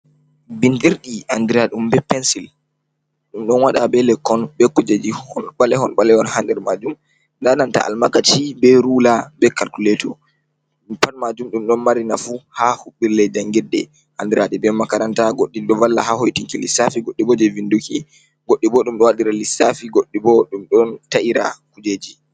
Bindirɗi a andira ɗum be pensil, ɗum ɗon waɗa be lekkon be kujeji ɓalehon ɓalehon ha nder majum nda nanta almakaci be rula be kalkuleto ɗum pat majum ɗum ɗon mari nafu haa huɓɓirle jangiɗɗe andiradi be makaranta. Goɗɗi ɗo valla ha hoitinki lissafi, goɗɗi bo jei vinduki goɗɗi bo ɗum ɗo wadira lissafi goddi bo ɗum ɗon ta’ira kujeji.